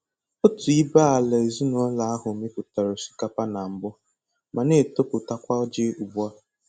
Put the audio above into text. Otu ibé-ala ezinụlọ ahụ mipụtara osikapa na mbụ ma na-etoputakwa ji ugbu a.